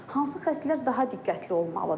Hansı xəstələr daha diqqətli olmalıdır?